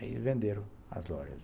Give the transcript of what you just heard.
Aí venderam as lojas.